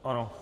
Ano.